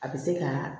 A bɛ se ka